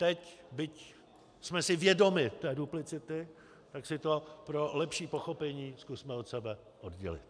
Teď, byť jsme si vědomi té duplicity, tak si to pro lepší pochopení zkusme od sebe oddělit.